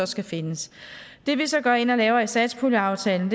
skal findes det vi så går ind og laver i satspuljeaftalen